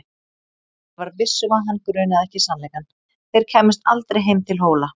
Ari var viss um að hann grunaði ekki sannleikann: þeir kæmust aldrei heim til Hóla.